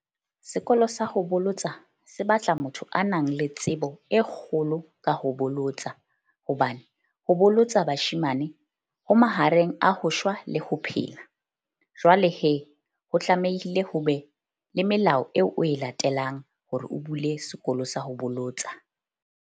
Sekolo sa ho bolotsa se batla motho a nang le tsebo e kgolo ka ho bolotsana. Hobane ho bolotsa bashemane ho mahareng a ho shwa le ho phela. Jwale ho tlamehile ho be le melao eo o e latelang hore o bule sekolo sa ho bolotsa.